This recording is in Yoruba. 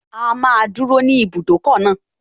A máa dúró ní ibùdókọ̀ náà